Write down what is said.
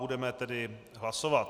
Budeme tedy hlasovat.